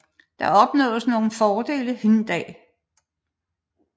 Der opnåedes nogle fordele hin dag